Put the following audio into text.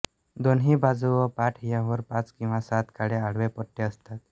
दोन्ही बाजू व पाठ यांवर पाच किंवा सात काळे आडवे पट्टे असतात